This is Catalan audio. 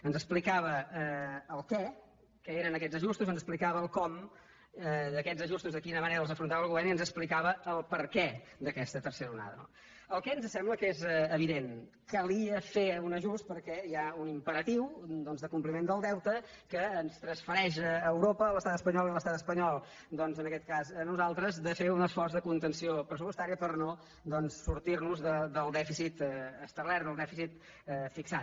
ens explicava el què què eren aquests ajustos ens explicava el com d’aquest ajustos de quina manera els afrontava el govern i ens explicava el per què d’aquesta tercera onada no el què ens sembla que és evident calia fer un ajust perquè hi ha un imperatiu de compliment del deute que ens transfereix europa a l’estat espanyol i l’estat espanyol doncs en aquest cas a nosaltres de fer un esforç de contenció pressupostària per no sortir nos del dèficit establert del dèficit fixat